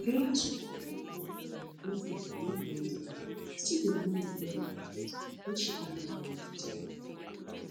nigeria super falcons player blessing illivieda still dey mourn di death of her husband wen she gatz join di training camp